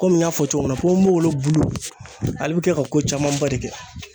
Komi n y'a fɔ cogo min na ponponpopopogolon bulu ale bi kɛ ka ko camanba de kɛ